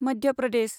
Madhya Pradesh